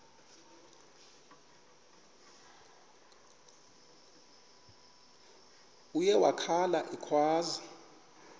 uye wakhala ekhwaza